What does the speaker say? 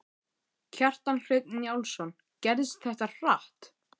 Kjartan Hreinn Njálsson: Gerðist þetta hratt?